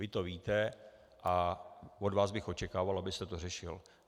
Vy to víte a od vás bych očekával, abyste to řešil.